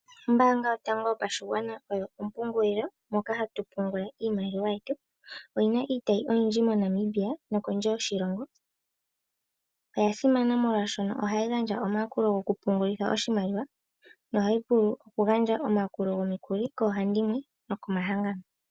Ombaanga yotango yopashigwana oyo ompungulilo moka hatu pungula iimaliwa yetu, oyina iitayi oyindji moNamibia oshowo kondje yoshilongo, oya simana molwaashono ohayi gandja omayakulo gokupungulitha oshimaliwa nohayi vulu okugandja omayakulo gomukuli koohandimwe nokomahangano.